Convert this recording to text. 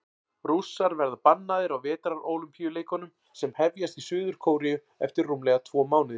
Rússar verða bannaðir á Vetrarólympíuleikunum sem hefjast í Suður-Kóreu eftir rúmlega tvo mánuði.